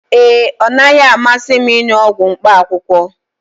ee, ọ naghị amasị m ịṅụ ọgwụ mkpaakwụkwọ